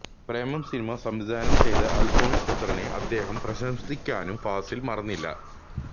പ്രേമം cinema സംവിധാനം ചെയ്ത അല്ഫോന്സ് പുത്രനെ അദ്ദേഹം പ്രശംസിക്കാനും ഫാസില് മറന്നില്ല